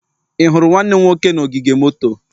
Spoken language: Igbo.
Ị hụrụ nwanne m nwoke na ogige moto?